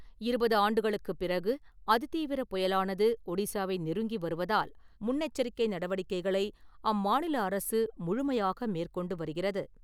இருபது ஆண்டுகளுக்கு பிறகு அதி தீவிர புயலானது ஒடிஸாவை நெருங்கி வருவதால் முன்னெச்சரிக்கை நடவடிக்கைகளை அம்மாநில அரசு முழுமையாக மேற்கொண்டு வருகிறது.